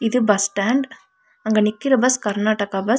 இது bus stand அங்க நிக்கிற பஸ் கர்நாடகா பஸ் .